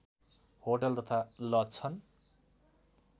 hotel तथा lodge छन्